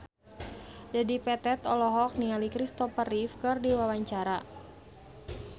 Dedi Petet olohok ningali Christopher Reeve keur diwawancara